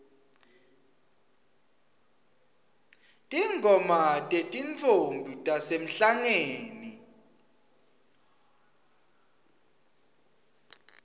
tingoma tetintfombi tasemhlangeni